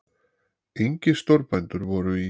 Engir stórbændur voru í